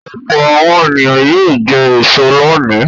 Ọ̀pọ̀ àwọn ènìyàn yóò jẹ èso lónìí.